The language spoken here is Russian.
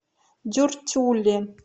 дюртюли